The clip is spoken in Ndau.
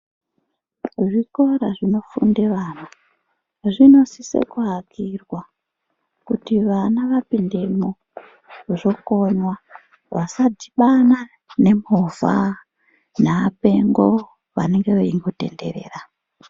Zvikira zvibofunde ana zvibosise kuakirwa kuti vana vapindemwo vokona vasadhibana nemovha yaapengo vanenge veingotenderera.